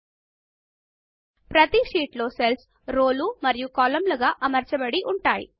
ప్రతి spreadsheet లో cells రోలు మరియు కాలమ్లు గా అమర్చబడి ఉంటాయి